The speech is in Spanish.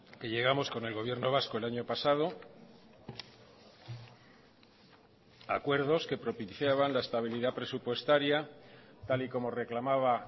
que llegamos con el gobierno vasco el año pasado acuerdos que propiciaban la estabilidad presupuestaria tal y como reclamaba